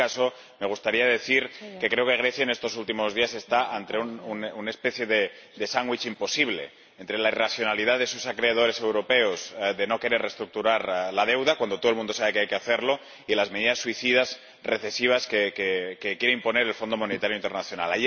En cualquier caso, me gustaría decir que creo que Grecia está en estos últimos días ante una especie de sándwich imposible, entre la irracionalidad de sus acreedores europeos de no querer reestructurar la deuda, cuando todo el mundo sabe que hay que hacerlo, y las medidas suicidas recesivas que quiere imponer el Fondo Monetario Internacional.